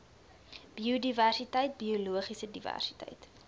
biodiversiteit biologiese diversiteit